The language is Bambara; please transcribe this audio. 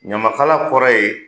Ɲamakala kɔrɔ ye